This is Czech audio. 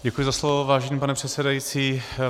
Děkuji za slovo, vážený pane předsedající.